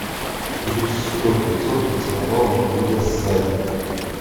плюс сто пятьсот поцеловал верблюда сзади